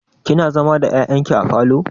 Kina zama da ƴaƴan ki a falo?